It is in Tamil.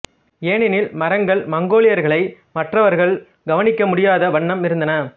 ஏனெனில் மரங்கள் மங்கோலியர்களை மற்றவர்கள் கவனிக்க முடியாத வண்ணம் இருந்தன